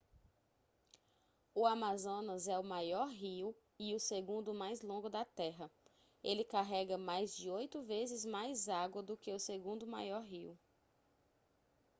o amazonas é o maior rio e o segundo mais longo da terra ele carrega mais de oito vezes mais água do que o segundo maior rio